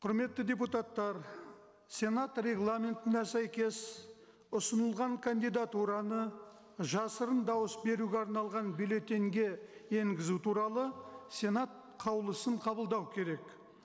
құрметті депутаттар сенат регламентіне сәйкес ұсынылған кандидатураны жасырын дауыс беруге арналған бюллетеньге енгізу туралы сенат қаулысын қабылдау керек